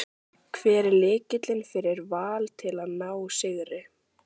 Hver er lykillinn fyrir Val til að ná sigri?